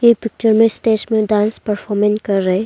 इस पिक्चर में स्टेज पे डांस परफॉर्मेंन कर रहे--